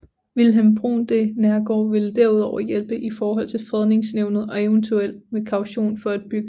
Vilhelm Bruun de Neergaard ville derudover hjælpe i forhold til Fredningsnævnet og eventuelt med kaution for et byggelån